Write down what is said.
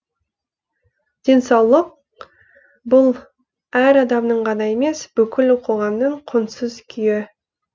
денсаулық бұл әр адамның ғана емес бүкіл қоғамның құнсыз күйі